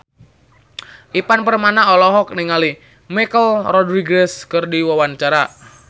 Ivan Permana olohok ningali Michelle Rodriguez keur diwawancara